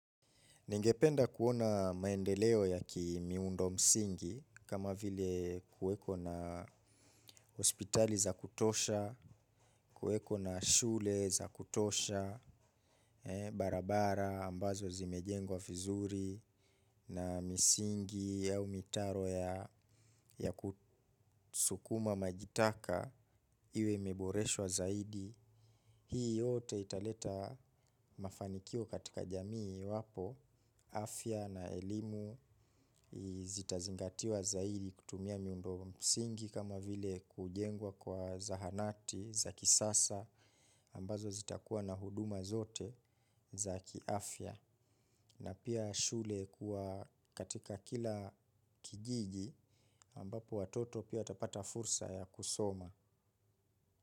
Ningependa kuona maendeleo ya kimiundo msingi kama vile kuweko na hospitali za kitosha kuweko na shule za kutosha barabara ambazo zimejengwa viruzi na misingi au mitaro ya sukuma maji taka iwe imeboreshwa zaidi. Hii yote italeta mafanikio katika jamii iwapo afya na elimu zitazingatiwa zaidi kutumia miundo msingi kama vile kujengwa kwa zahanati za kisasa ambazo zitakuwa na huduma zote za kiafya. Na pia shule kuwa katika kila kijiji ambapo watoto pia tapata fursa ya kusoma.